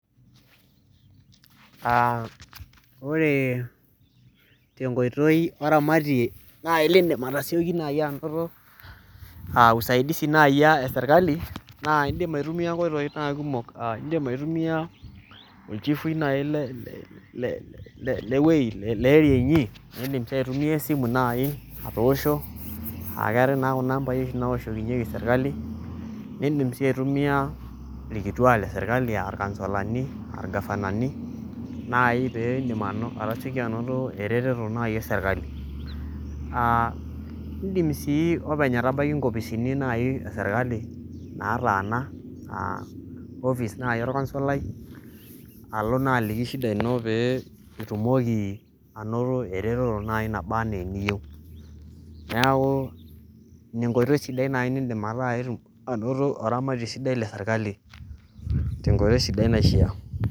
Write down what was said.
Aa ore te nkoitoi oramati nai liindim atasioki nai anoto aa usaidizi nai a serkali naa indim aitumia nkoitoi naa kumok. Aa indim aitumai olchifui nai le le le wuei le [ca] area inyi, niindim sii aitumia esimu nai atoosho, aake eetai naa kuna amba oshi nawoshokinyeki serkali, niindim sii aitumia irkituak le serkali a irkansolani, aa irgavanani nai pee indim ano atasioki anoto ereteto nai e serkali. Aaa indim sii openy atabaki nkopisini nai e serkali nataana aa office nai orkansolai alo naa aliki shida ino pee itumoki anoto ereteto nai naba enee eniyeu. Neeku ina enkoitoi sidai nai niindim ataa itum anoto oramati sidai le serkali te nkoitoi sidai naishia.